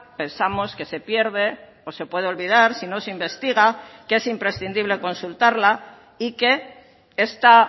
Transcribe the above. pensamos que se pierde o se puede olvidar si no se investiga que es imprescindible consultarla y que esta